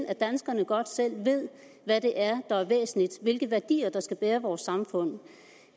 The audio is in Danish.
at danskerne godt selv ved hvad det er der er væsentligt hvilke værdier der skal bære vores samfund